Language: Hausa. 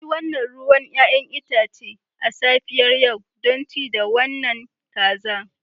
Na yi wannan ruwan 'ya'yan itace a safiyar yau don ci da wannan kaza.